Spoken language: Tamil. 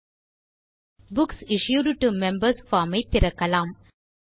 okay books issued to members form ஐ திறக்கலாம்